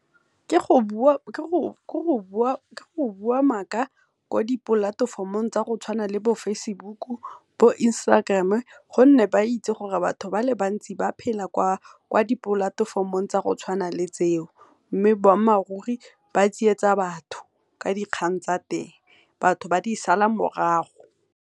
ke go bua maaka ko di-platform-ong tsa go tshwana le bo Facebook, bo Instagram gonne ba itsi gore batho ba le bantsi ba phela kwa di-platform-ong tsa go tshwana le tseo, mme boammaaruri ba tsietsa batho ka dikgang tsa teng batho ba di sala morago.